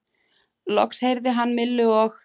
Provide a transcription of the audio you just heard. Loks heyrði hann Millu og